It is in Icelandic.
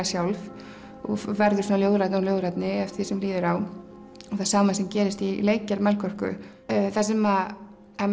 sjálf og verður ljóðrænni og ljóðrænni eftir því sem líður á og sama gerist í leikgerð Melkorku það sem